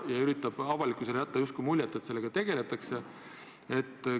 Aga avalikkusele üritatakse jätta muljet, et sellega tegeletakse.